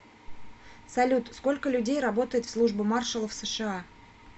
салют сколько людей работает в служба маршалов сша